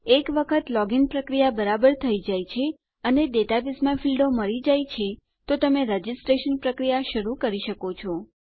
એક વખત લોગિન પ્રક્રિયા બરાબર થઇ જાય છે અને ડેટાબેઝમાં ફીલ્ડો મળી જાય છે તો તમે રજીસ્ટ્રેશન પ્રક્રિયા શરૂ કરી શકો છો